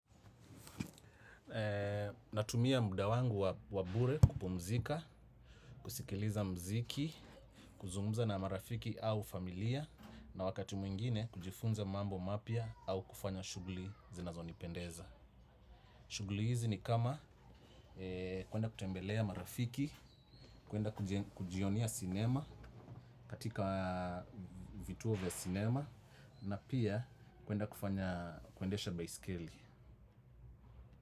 Natumia muda wangu wa bure kupumzika, kusikiliza muziki, kuzungumza na marafiki au familia. Na wakati mwingine kujifunza mambo mapya au kufanya shughuli zinazonipendeza. Shughuli hizi ni kama kuenda kutembelea marafiki, kuenda kujionea sinema katika vituo vya sinema. Na pia kuenda kufanya kuendesha baisikeli.